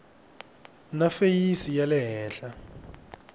na feyisi ya le henhla